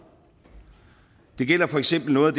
det gælder for eksempel noget